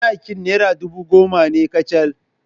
Sadaki naira ɗubu goma ne kacal.